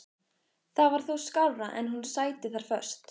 Það var þó skárra en hún sæti þar föst.